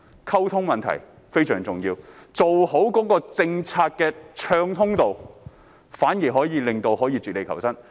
溝通問題非常重要，好的政策讓漁民可絕地求生。